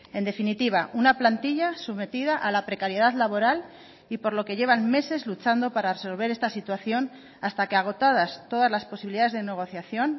en definitiva una plantilla sometida a la precariedad laboral y por lo que llevan meses luchando para resolver esta situación hasta que agotadas todas las posibilidades de negociación